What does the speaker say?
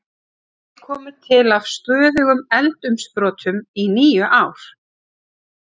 Þeir komu til af stöðugum eldsumbrotum í níu ár.